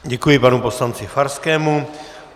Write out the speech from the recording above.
Děkuji panu poslanci Farskému.